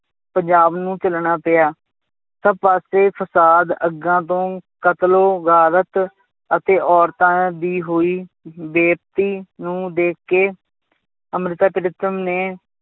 ਪੰਜਾਬ ਨੂੰ ਝੱਲਣਾ ਪਿਆ, ਤਾਂ ਫਾਸੇ ਫਸਾਦ ਅੱਗਾਂ ਤੋਂ ਕਤਲੋ ਗਾਰਤ ਅਤੇ ਔਰਤਾਂ ਦੀ ਹੋਈ ਬੇਪਤੀ ਨੂੰ ਦੇਖਕੇ ਅੰਮ੍ਰਿਤਾ ਪ੍ਰੀਤਮ ਨੇ